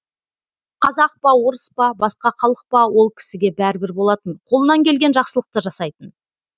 қазақ па орыс па басқа халық па ол кісіге бәрібір болатын қолынан келген жақсылықты жасайтын